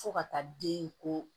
Fo ka taa den ko